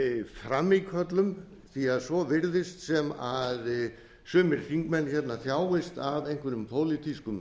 frammíköllum því svo virðist að sumir þingmenn þjáist af einhverjum pólitískum